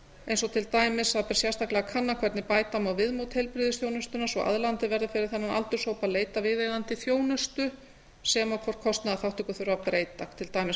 eins og til dæmis að það ber sérstaklega að kanna hvernig bæta má viðmót heilbrigðisþjónustunnar svo aðlaðandi verði fyrir þennan aldurshóp að leita viðeigandi þjónustu sem og og hvort kostnaðarþátttöku þurfi að breyta til dæmis